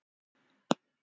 Og ég sló til.